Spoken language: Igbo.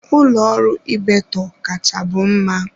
Ụlọ ọrụ Ibeto kachabu mma.